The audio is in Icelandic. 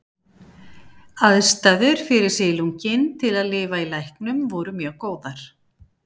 Aðstæður fyrir silunginn til að lifa í læknum voru mjög góðar.